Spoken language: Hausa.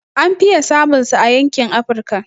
An fiye samun sa a yankin Afrika